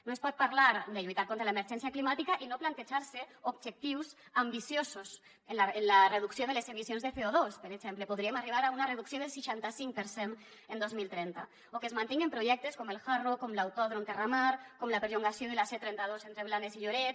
no es pot parlar de lluitar contra l’emergència climàtica i no plantejar se objectius ambiciosos en la reducció de les emissions de coarribar a una reducció del seixanta cinc per cent en dos mil trenta o que es mantinguen projectes com el hard rock com l’autòdrom terramar com el perllongament de la c trenta dos entre blanes i lloret